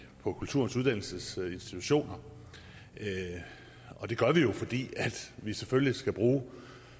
på kulturens uddannelsesinstitutioner det gør vi jo fordi vi selvfølgelig skal bruge